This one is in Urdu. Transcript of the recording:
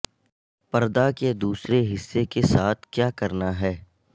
پردہ کے دوسرے حصے کے ساتھ کیا کرنا ہے